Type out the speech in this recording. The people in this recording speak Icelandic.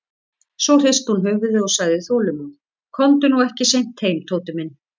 Svo hristi hún höfuðið og sagði þolinmóð: Komdu nú ekki seint heim, Tóti minn.